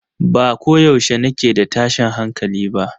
Ba ko yaushe nake da tashin hankali ba